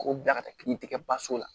K'o bila ka taa pikiri kɛ basi la